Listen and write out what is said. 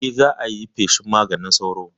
Eh, za ayi feshin maganin sauro